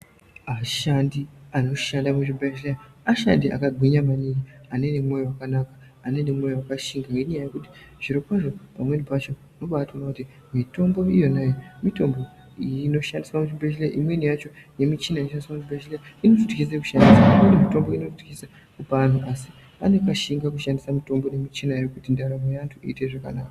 Ashandi anoshanda muzvibhedhlera, ashandi akagwinya maningi ane nemwoyo wakanaka ane nemwoyo wakashinga, nenyaya yekuti zvirokwazvo pamweni pacho unobatoona kuti mitombo iyona iyomitombo inoshandiswe muzvibhedhleya imweni yacho, nemichina inoshandiswa muzvibhdhleya inototyise kushandisa, mitombo inotyisa vanhu, asi anoshinge kushandisa mitombo iyoyoyo kuti ndaramo yaantu iite zvakanaka.